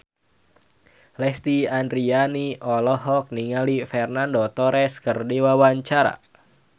Lesti Andryani olohok ningali Fernando Torres keur diwawancara